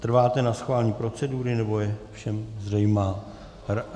Trváte na schválení procedury, nebo je všem zřejmá?